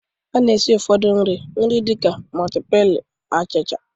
A na-esi nri ụfọdụ nri dịka miti pailu, achicha